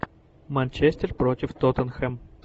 манчестер против тоттенхэм